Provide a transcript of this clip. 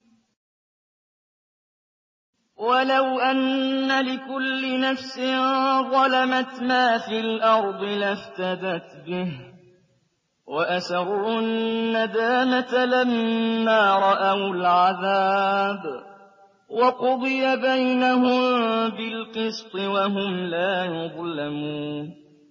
وَلَوْ أَنَّ لِكُلِّ نَفْسٍ ظَلَمَتْ مَا فِي الْأَرْضِ لَافْتَدَتْ بِهِ ۗ وَأَسَرُّوا النَّدَامَةَ لَمَّا رَأَوُا الْعَذَابَ ۖ وَقُضِيَ بَيْنَهُم بِالْقِسْطِ ۚ وَهُمْ لَا يُظْلَمُونَ